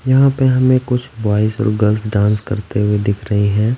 यहाँ पे हमें कुछ बॉयज और गर्ल्स डांस करते हुए दिख रही हैं।